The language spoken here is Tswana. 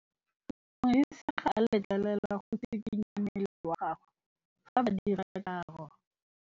Modise ga a letlelelwa go tshikinya mmele wa gagwe fa ba dira karô.